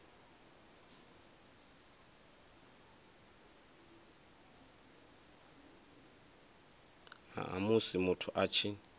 ha musi muthu a tshi